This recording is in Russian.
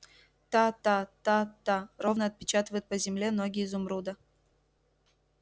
та-та-та-та ровно отпечатывают по земле ноги изумруда